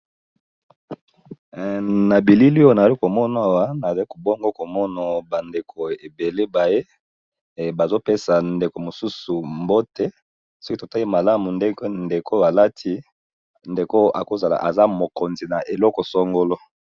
Na bilili oyo nali komonawa nazakobongo komono bandeko ebele baye bazopesa ndeko mosusu mbote, soki totali malamu ndenge ndeko alati ndeko akozala aza mokonzi na eloko songolo.